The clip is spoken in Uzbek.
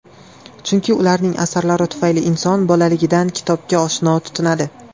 Chunki ularning asarlari tufayli inson bolaligidan kitobga oshno tutinadi.